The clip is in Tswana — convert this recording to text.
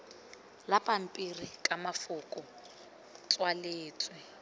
la pampiri ka mafoko tswaletswe